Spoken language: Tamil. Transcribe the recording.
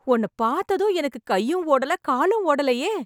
உன்னப் பாத்ததும், எனக்கு கையும் ஓடல, காலும் ஓடலயே...